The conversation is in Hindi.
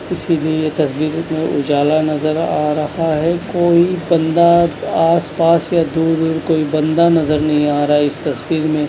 इसीलिए यह तजदीर जो उजाला नजर आ रहा है कोई बंदा आसपास या दूर-दूर कोई बंदा नजर नहीं आ रहा इस तस्वीर में।